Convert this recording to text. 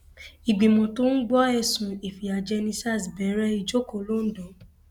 ìgbìmọ tó ń gbọ ẹsùn ìfìyàjẹni sars bẹrẹ ìjókòó l'ondo